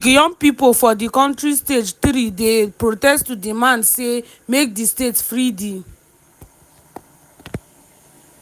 last week young pipo for di kontri stage 3-day protest to demand say make di state free di